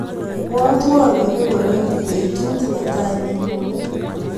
Ibwatwa aiip ngoraik betut netai nenyone.